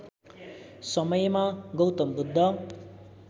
समयमा गौतम बुद्ध